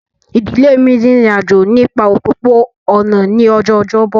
Ìdílé mi rin ìrìn àjò nípa òpópó-ọ̀nà ní ọjọ́ ọjọ́bọ̀